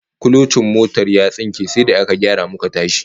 Kulocin motar ya tsinke sai da aka gyara muka tashi